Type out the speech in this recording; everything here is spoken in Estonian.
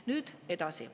Nüüd edasi.